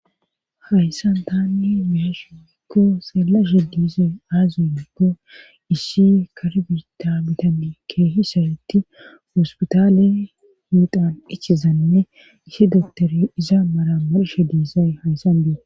hayssan taanni beyashe woyko xelashe dizay aaze gikkon issi karbita bitani keehisaytti ospitaale hiidan ichizanne issi doktori iza mara marshe diizay hayssan betes